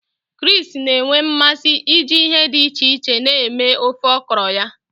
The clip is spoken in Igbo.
Chris na-enwe mmasị iji ihe dị iche iche na-eme ofe okro ya.